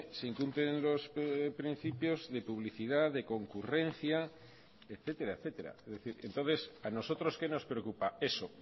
se incumplen los principios de publicidad de concurrencia etcétera etcétera es decir entonces a nosotros qué nos preocupa eso